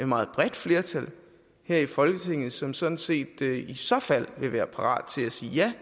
meget bredt flertal her i folketinget som sådan set i så fald vil være parat til at sige ja